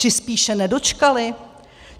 Či spíše nedočkali?